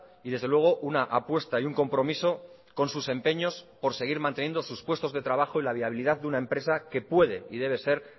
y desde luego una apuesta y un compromiso con sus empeños por seguir manteniendo sus puestos de trabajo y la viabilidad de una empresa que puede y debe ser